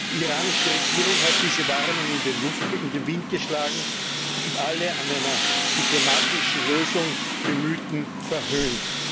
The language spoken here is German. Die iranische Regierung hat diese Warnung in den Wind geschlagen und alle an einer diplomatischen Lösung Bemühten verhöhnt.